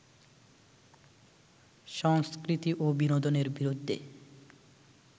সংস্কৃতি ও বিনোদনের বিরুদ্ধে